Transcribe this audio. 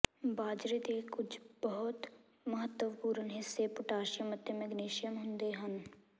ਬਾਜਰੇ ਦੇ ਕੁਝ ਬਹੁਤ ਮਹੱਤਵਪੂਰਨ ਹਿੱਸੇ ਪੋਟਾਸ਼ੀਅਮ ਅਤੇ ਮੈਗਨੀਸੀਅਮ ਹੁੰਦੇ ਹਨ